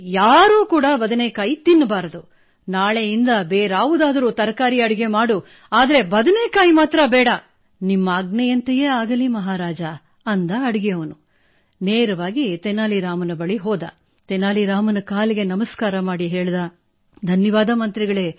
ಲಾವಣ್ಯಾ ಅವರಿಗೆ ನಿಮಗೆ ಅಭಿನಂದನೆಗಳು